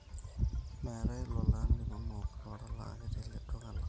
meetae lolan linonok lootalaaki tele duka lang